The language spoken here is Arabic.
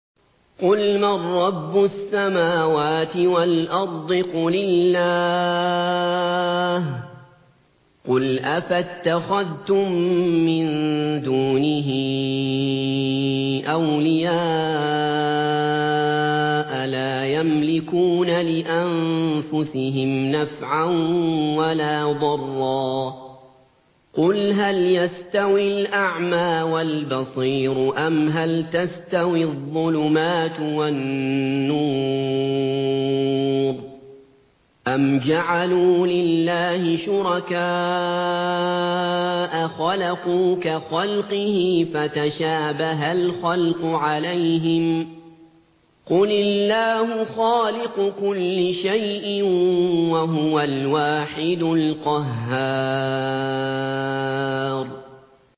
قُلْ مَن رَّبُّ السَّمَاوَاتِ وَالْأَرْضِ قُلِ اللَّهُ ۚ قُلْ أَفَاتَّخَذْتُم مِّن دُونِهِ أَوْلِيَاءَ لَا يَمْلِكُونَ لِأَنفُسِهِمْ نَفْعًا وَلَا ضَرًّا ۚ قُلْ هَلْ يَسْتَوِي الْأَعْمَىٰ وَالْبَصِيرُ أَمْ هَلْ تَسْتَوِي الظُّلُمَاتُ وَالنُّورُ ۗ أَمْ جَعَلُوا لِلَّهِ شُرَكَاءَ خَلَقُوا كَخَلْقِهِ فَتَشَابَهَ الْخَلْقُ عَلَيْهِمْ ۚ قُلِ اللَّهُ خَالِقُ كُلِّ شَيْءٍ وَهُوَ الْوَاحِدُ الْقَهَّارُ